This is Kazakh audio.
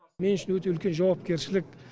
мен үшін өте үлкен жауапкершілік